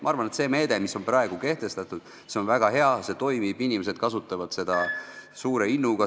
Ma arvan, et see meede, mis on praegu kehtestatud, on väga hea, see toimib, inimesed kasutavad seda suure innuga.